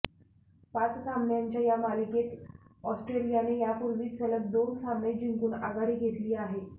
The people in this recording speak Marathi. पाच सामन्यांच्या या मालिकेत ऑस्ट्रेलियाने यापूर्वीच सलग दोन सामने जिंकून आघाडी घेतली आहे